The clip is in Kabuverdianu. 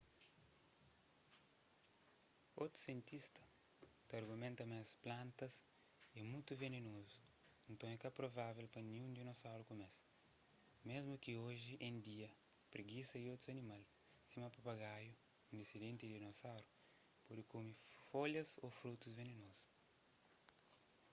otus sientista ta argumenta ma es plantas é mutu venenozu nton é ka provável pa ninhun dinosauru kume-s mésmu ki oji en dia pregisa y otus animal sima papagaiu un disendenti di dinosaurus pode kume folhas ô frutus venenozu